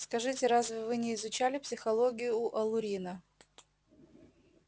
скажите разве вы не изучали психологию у алурина